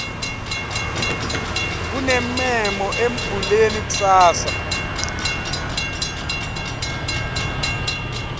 kunemmemo embuleni kusasa